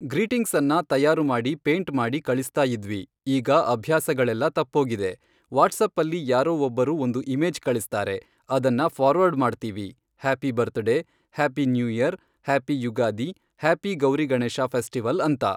ಗ್ರೀಟಿಂಗ್ಸನ್ನ ತಯಾರು ಮಾಡಿ ಪೇಂಟ್ ಮಾಡಿ ಕಳಿಸ್ತಾಯಿದ್ವಿ ಈಗ ಅಭ್ಯಾಸಗಳೆಲ್ಲ ತಪ್ಪೋಗಿದೆ ವಾಟ್ಸಪ್ಪಲ್ಲಿ ಯಾರೋ ಒಬ್ಬರು ಒಂದು ಇಮೇಜ್ ಕಳಿಸ್ತಾರೆ ಅದನ್ನ ಫಾರ್ವರ್ಡ್ ಮಾಡ್ತೀವಿ happy birthday, happy new year, happy Yugadi, happy Gauri Ganesha festival ಅಂತ.